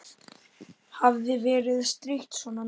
Hafði verið strítt svona mikið.